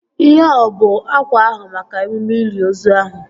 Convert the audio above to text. Ihea ọ bụ akwa ahụ maka emume ili ozu ahụ?